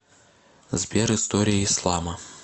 сбер история ислама